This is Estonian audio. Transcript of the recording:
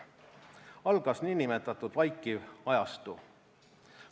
Algas niinimetatud vaikiv ajastu.